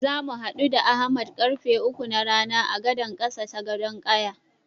Zamu haɗu da Ahmad karfe uku na rana a gadan ƙasa ta Gadon ƙaya.